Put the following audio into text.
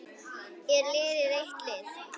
Er liðið eitt lið?